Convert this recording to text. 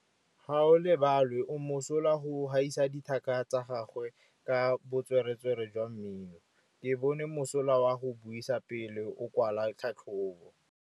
Gaolebalwe o mosola go gaisa dithaka tsa gagwe ka botswerere jwa mmino. Ke bone mosola wa go buisa pele o kwala tlhatlhobô.